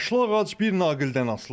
Yaşlı ağac bir naqildən asılıdır.